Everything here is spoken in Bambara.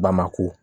Bamako